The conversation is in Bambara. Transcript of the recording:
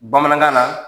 Bamanankan na